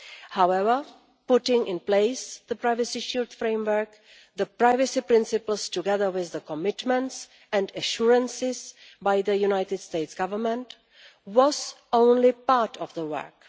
However, putting in place the privacy shield framework, the privacy principles, together with the commitments and assurances by the United States' government, was only part of the work.